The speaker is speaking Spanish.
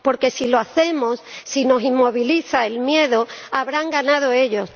Porque, si lo hacemos, si nos inmoviliza el miedo, habrán ganado ellos.